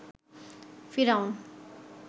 ফিরাউন